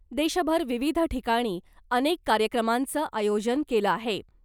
देशभर विविध ठिकाणी अनेक कार्यक्रमांचं आयोजन केलं आहे .